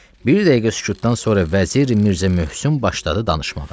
Bir dəqiqə sükutdan sonra Vəzir Mirzə Möhsün başladı danışmağa.